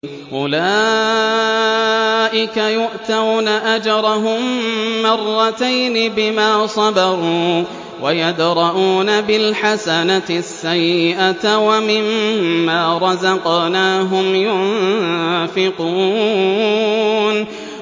أُولَٰئِكَ يُؤْتَوْنَ أَجْرَهُم مَّرَّتَيْنِ بِمَا صَبَرُوا وَيَدْرَءُونَ بِالْحَسَنَةِ السَّيِّئَةَ وَمِمَّا رَزَقْنَاهُمْ يُنفِقُونَ